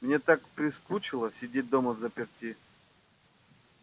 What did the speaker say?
мне так прискучило сидеть дома взаперти